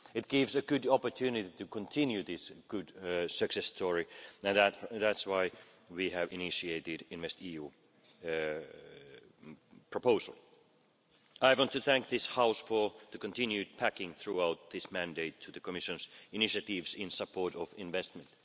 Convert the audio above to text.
It is a good opportunity to continue this success story and that is why we have initiated the InvestEU proposal. I want to thank this House for its continued backing throughout this mandate to the Commission's initiatives in support of investment.